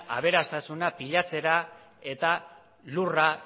aberastasuna pilatzera eta lurra